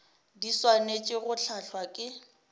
di swanetše go hlahlwa ke